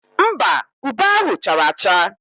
Mba, ube ahụ chara acha.